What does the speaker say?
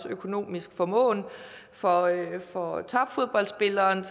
økonomisk formåen for for topfodboldspilleren